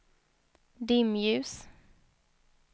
dimljus